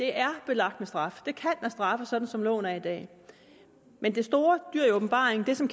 er belagt med straf det kan straffes sådan som loven er i dag men det store dyr i åbenbaringen det som